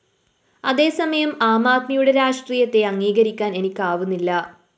അതേസമയം ആംആദ്മിയുടെ രാഷ്ട്രീയത്തെ അംഗീകരിക്കാന്‍ എനിക്കാവുന്നില്ല